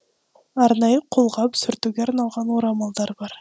арнайы қолғап сүртуге арналған орамалдар бар